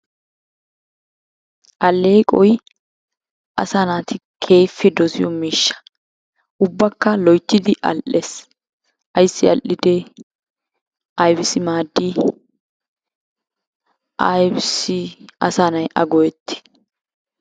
Alleqoy asaa naati keehippe dosiyo miishsha. ubbakka loyittidi al'ees. Ayissi al'idee? Ayibissi maaddii? Ayibissi asa na'ay a go'etti?